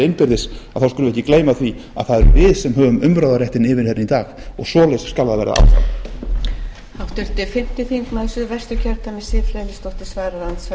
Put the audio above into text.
innbyrðis þá skulum við ekki gleyma því að það erum við sem höfum umráðaréttinn yfir henni í dag og svo skal það